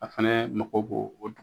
A fana mago bo o